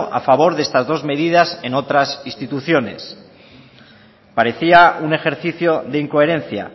a favor de estas dos medidas en otras instituciones parecía un ejercicio de incoherencia